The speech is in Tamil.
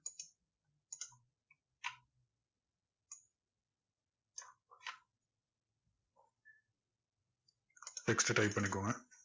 text type பண்ணிகோங்க